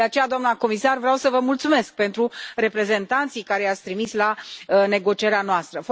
De aceea, doamnă comisar, vreau să vă mulțumesc pentru reprezentanții pe care i ați trimis la negocierea noastră.